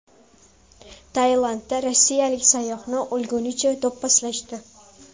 Tailandda rossiyalik sayyohni o‘lgunicha do‘pposlashdi.